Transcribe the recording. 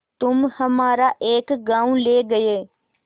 तुम हमारा एक गॉँव ले गये